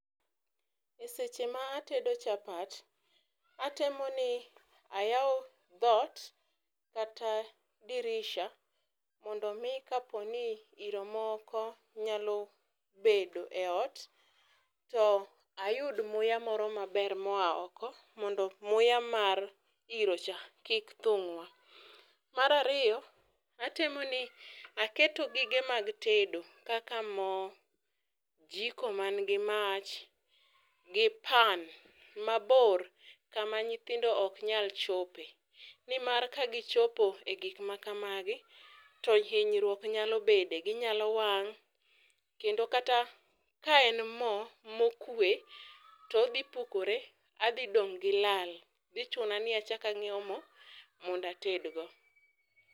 eseche ma atedo chapat, atemo ni ayawo dhoot kata dirisha mondo mi kaponi iro moko nyalo bedo e ot ,to ayud muya moro maber moya oko mondo muya mar iro cha kik thung'wa. Mar ariyo, atemo ni aketo gige mag tedo kaka moo, jiko man gi mach ,gi pan mabor kama nyithindo ok nyal chope nimar kagi chopo e gik ma kamagi to hinyruok nyalo bede. Ginyalo wang' kendo kata ka en moo mokue todhi pukore adhi dong' gi lal dhi chuna ni achak anyiewo moo mondo atedgo.